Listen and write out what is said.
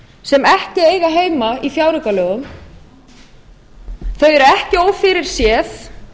sem ekki eiga heima í fjáraukalögum þau eru ekki ófyrirséð